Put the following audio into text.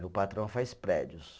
Meu patrão faz prédios.